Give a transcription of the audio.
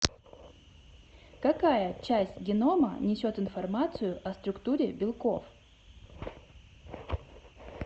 какая часть генома несет информацию о структуре белков